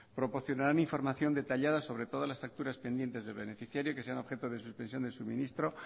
proporcionarán información detallada sobre todas las facturas pendientes de beneficiario que sean objeto de suspensión del suministro